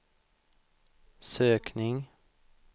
sökning